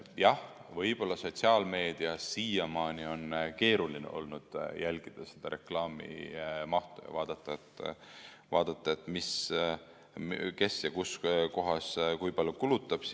Jah, võib-olla sotsiaalmeedias siiamaani on keeruline olnud jälgida seda reklaamimahtu, vaadata, et kes ja kus kohas kui palju kulutab.